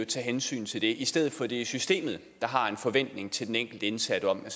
tage hensyn til det i stedet for at det er systemet der har en forventning til den enkelte indsatte om at